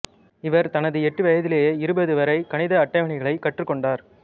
இவர் தனது எட்டு வயதிலேயே இருபது வரை கணித அட்டவணைகளைக் கற்றுக் கொண்டார்